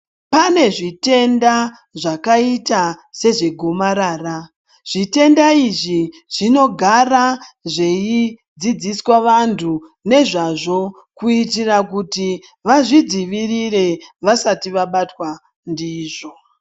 Pane zvitenda zvakaita sezvegomarara. Zvitenda izvi zvinogara zveidzidziswa vantu nezvazvo kuitira kuti vazvidzivirire vasati vabatwa ndizvo.